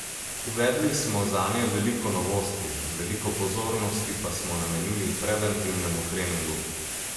Uvedli smo zanje veliko novosti, veliko pozornosti pa smo namenili preventivnemu treningu.